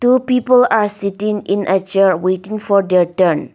two people are sitting in a chair waiting for their turn.